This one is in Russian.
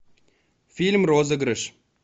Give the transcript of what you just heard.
фильм розыгрыш